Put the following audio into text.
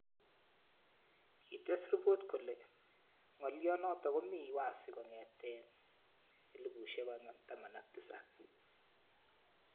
Kites ripot kole ng'olyot notok komii wazi kong'etee 2017